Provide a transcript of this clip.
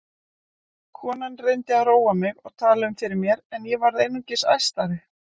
Konan reyndi að róa mig og tala um fyrir mér en ég varð einungis æstari.